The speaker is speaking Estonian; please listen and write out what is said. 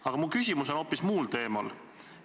Aga mu küsimus on hoopis muul teemal.